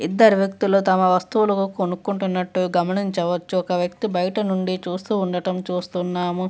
ఇద్దరు వ్యక్తుల తమ వస్తువులు కొనుక్కుంటున్నట్టు గమనించవచ్చు ఒక వ్యక్తి బయట నుండి చూస్తూ ఉండటం చూస్తున్నాము.